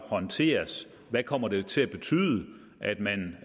håndteres hvad kommer det til at betyde at man